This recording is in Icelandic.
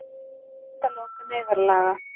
Vill endalok neyðarlaga